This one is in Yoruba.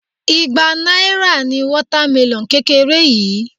Igba náírà ni water melon kékeré yìí.